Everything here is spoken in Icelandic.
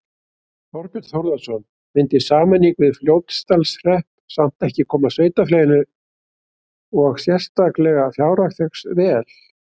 Þorbjörn Þórðarson: Myndi sameining við Fljótsdalshrepp samt ekki koma sveitarfélaginu og sérstaklega fjárhag þess vel?